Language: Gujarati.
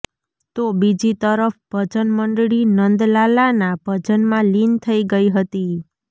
તો બીજી તરફ ભજન મંડળી નંદલાલાના ભજનમાં લીન થઈ ગઈ હતી